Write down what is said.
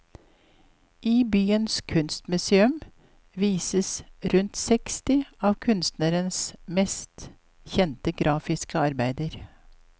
I byens kunstmuseum vises rundt seksti av kunstnerens mest kjente grafiske arbeider.